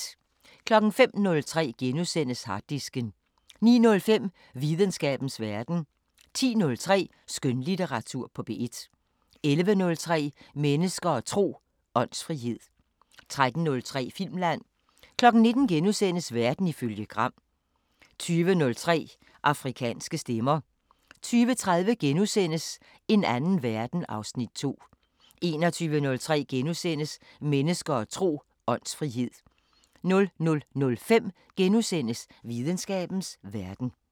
05:03: Harddisken * 09:05: Videnskabens Verden 10:03: Skønlitteratur på P1 11:03: Mennesker og tro: Åndsfrihed 13:03: Filmland 19:00: Verden ifølge Gram * 20:03: Afrikanske Stemmer 20:30: En anden verden (Afs. 2)* 21:03: Mennesker og tro: Åndsfrihed * 00:05: Videnskabens Verden *